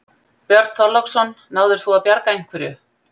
Björn Þorláksson: Náðir þú að bjarga einhverju?